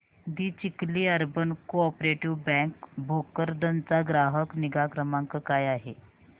दि Chikhli urban cooperative bank Bhokardan चा ग्राहक निगा क्रमांक काय आहे